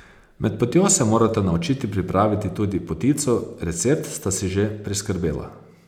Med potjo se morata naučiti pripraviti tudi potico, recept sta si že priskrbela.